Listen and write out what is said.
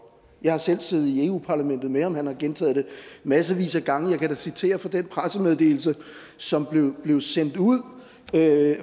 jeg har selv siddet i europa parlamentet med ham og han har gentaget det massevis af gange jeg kan da citere fra den pressemeddelelse som blev sendt ud af